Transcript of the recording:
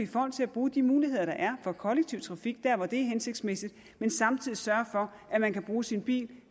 folk til at bruge de muligheder der er for kollektiv trafik der hvor det er hensigtsmæssigt men samtidig sørger for at man kan bruge sin bil